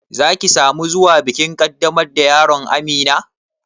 Za ki sa mu zuwa bikin ƙaddamar da yaron Amina?